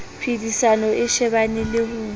phedisano a shebane le ho